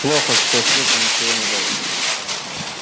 плохо что слышно ничего не было